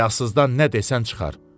Həyasızdan nə desən çıxar.